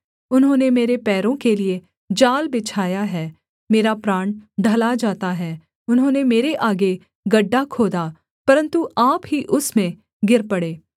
उन्होंने मेरे पैरों के लिये जाल बिछाया है मेरा प्राण ढला जाता है उन्होंने मेरे आगे गड्ढा खोदा परन्तु आप ही उसमें गिर पड़े सेला